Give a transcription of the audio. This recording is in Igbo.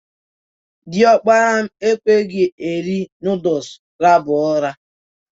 Diokpara m ekweghi eri nudul laba ura.